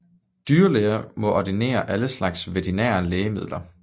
Dyrlæger må ordinere alle slags veterinære lægemidler